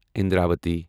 Indravati